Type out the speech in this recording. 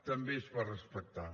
també es va respectar